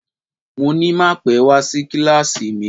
Mo ní má pẹ́ wá sí kíláàsì mi